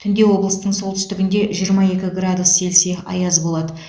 түнде облыстың солтүстігінде жиырма екі градус цельсия аяз болады